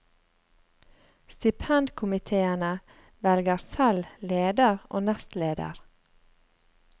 Stipendkomiteene velger selv leder og nestleder.